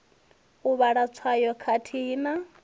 u vhala tswayo khathihi na